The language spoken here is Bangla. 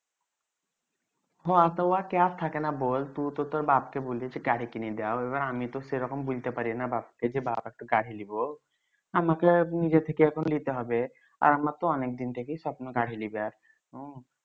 হ তু তর বাপকে বলিচি গাড়ি কিনে দাও এইবার আমি তো সেইরকম বুইলতে পারিনা বাপকে যে বাপ একটা গাড়ি লিবো আমাকে নিজের থেকে এখন লিতে হবে আর আমার তো অনেক দিন থেকেই স্বপ্ন গাড়ি লিবার হম